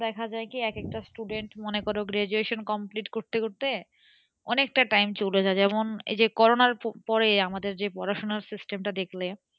দেখা যায় কি এক একটা student মনে কর graduation complete করতে করতে অনেকটা time চলে যায়, যেমন করোনার পরে আমাদের যে পড়াশোনার system টা দেখলে,